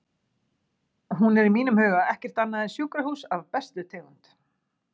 Hún er í mínum huga ekkert annað en sjúkrahús af bestu tegund.